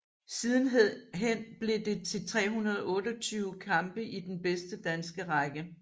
Sidenhen blev det til 328 kampe i den bedste danske række